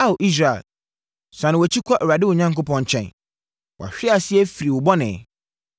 Ao Israel, sane wʼakyi kɔ Awurade wo Onyankopɔn nkyɛn. Wʼahweaseɛ firi wo bɔne!